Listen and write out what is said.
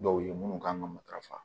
Dɔw ye minnu kan ka matarafa